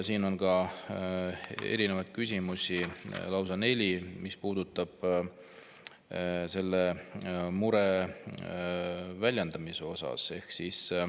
Siin on erinevaid küsimusi, lausa neli, mis puudutavad selle mure väljendamist.